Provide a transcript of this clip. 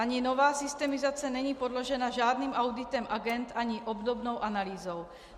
Ani nová systemizace není podložena žádným auditem agend ani obdobnou analýzou.